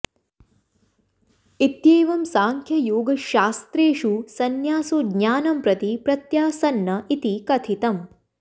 इत्येवं सांख्ययोगशस्त्रेषु संन्यासो ज्ञानं प्रति प्रत्यासन्न इति कथितम्